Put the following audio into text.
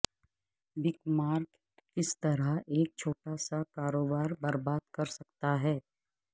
بک mark کس طرح ایک چھوٹا سا کاروبار برباد کر سکتا ہے